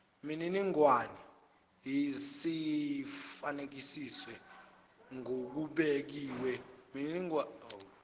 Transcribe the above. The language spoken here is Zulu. miningwane seyifakazisiwe ngokubekiwe